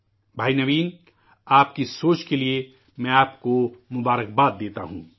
بھائی نوین، آپکی سوچ کے لیے میں آپ کو مبارکباد دیتا ہوں